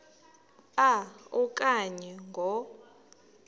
a okanye ngo